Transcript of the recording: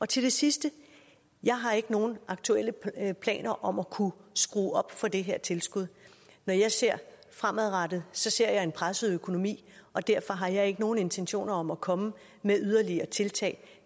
til det sidste jeg har ikke nogen aktuelle planer om at kunne skrue op for det her tilskud når jeg ser fremadrettet ser jeg en presset økonomi og derfor har jeg ikke nogen intentioner om at komme med yderligere tiltag